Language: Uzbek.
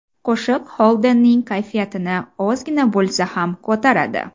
Qo‘shiq Xoldenning kayfiyatini ozgina bo‘lsa ham ko‘taradi.